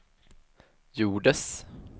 gjordes